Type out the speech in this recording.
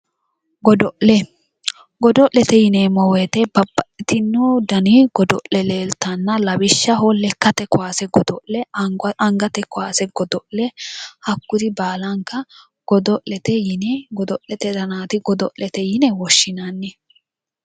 Godo'le godo'lete yineemmo woyite babbaxxitino dani godo'le leeltanna lawishaho lekkate kaase godo'le angate kaase godo'le hakkuri baalanka godo'lete yine godo'lete danaati godo'lete yine woshinanni